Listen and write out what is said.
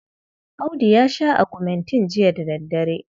Audu ya sha agumentin jiya da daddare.